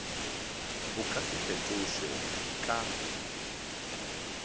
bo ka se fetošwe ka